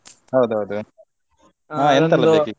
ಹೌದೌದು ಹಾ ?